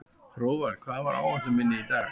Hróðvar, hvað er á áætluninni minni í dag?